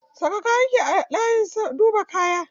Saka kayan ki a layin duba kaya.